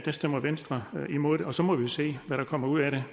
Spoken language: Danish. stemmer venstre imod det og så må vi jo se hvad der kommer ud af